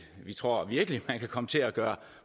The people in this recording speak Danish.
vi tror virkelig man kan komme til at gøre